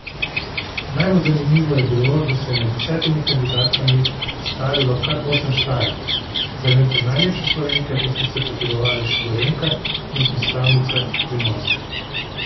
Najbolj zanimivo je bilo, da se je med desetimi kandidatkami predstavilo kar osem Štajerk, za lento najlepše Slovenke pa sta se potegovali še Gorenjka in predstavnica Primorske.